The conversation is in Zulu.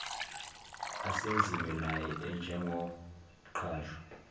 asenziwe naye njengomqashwa